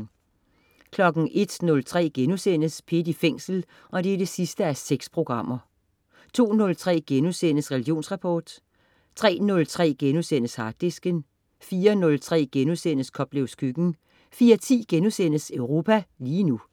01.03 P1 i Fængsel 6:6* 02.03 Religionsrapport* 03.03 Harddisken* 04.03 Koplevs Køkken* 04.10 Europa lige nu*